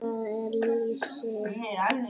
Hvað er lýsi?